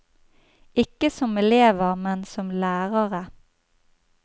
Ikke som elever, men som lærere.